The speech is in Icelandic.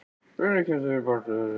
Hvenær kemst ég á bæklunardeildina?